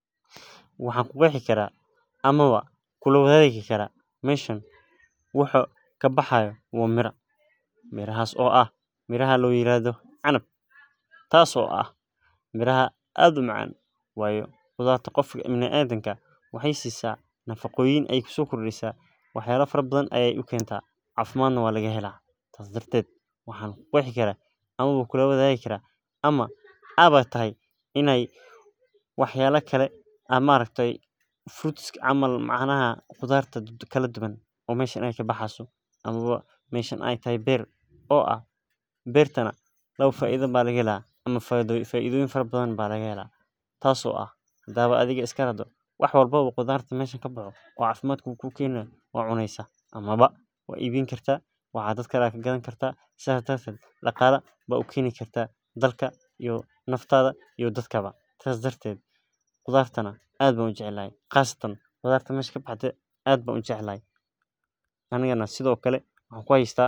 Waxaan ku qeexi kartaa ama kula wadaagi karaa meesha wax kabaxaayo waa miraha canab kuwaas oo sait umacaan oo qofka biniadamka cafimaad ukeeno qudaar kala duban ka baxeyso meeshan faida badan ayaa laga hela ama waad cuneysa ama dadkka yaa ka gadeusa faida yaad ka heleysa.